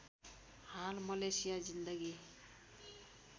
हाल मलेसिया जिन्दगी